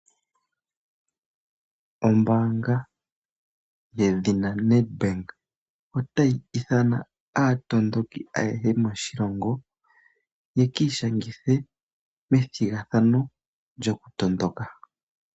Ombaanga ye dhina Nedbank, otayi ithana aatondoki ayehe moshilongo ye kii shangithe methigathano lyo kutondoka.